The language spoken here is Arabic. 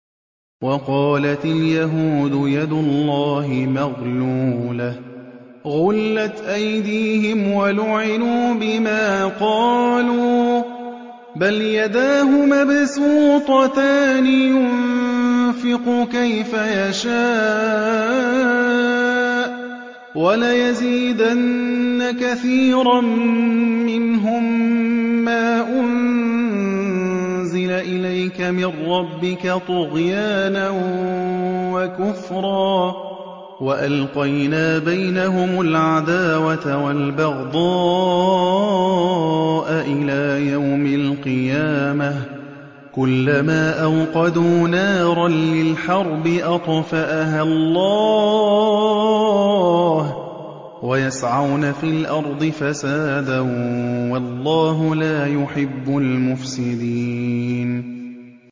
وَقَالَتِ الْيَهُودُ يَدُ اللَّهِ مَغْلُولَةٌ ۚ غُلَّتْ أَيْدِيهِمْ وَلُعِنُوا بِمَا قَالُوا ۘ بَلْ يَدَاهُ مَبْسُوطَتَانِ يُنفِقُ كَيْفَ يَشَاءُ ۚ وَلَيَزِيدَنَّ كَثِيرًا مِّنْهُم مَّا أُنزِلَ إِلَيْكَ مِن رَّبِّكَ طُغْيَانًا وَكُفْرًا ۚ وَأَلْقَيْنَا بَيْنَهُمُ الْعَدَاوَةَ وَالْبَغْضَاءَ إِلَىٰ يَوْمِ الْقِيَامَةِ ۚ كُلَّمَا أَوْقَدُوا نَارًا لِّلْحَرْبِ أَطْفَأَهَا اللَّهُ ۚ وَيَسْعَوْنَ فِي الْأَرْضِ فَسَادًا ۚ وَاللَّهُ لَا يُحِبُّ الْمُفْسِدِينَ